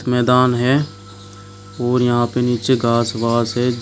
मैदान है और यहां पे नीचे घास वास है।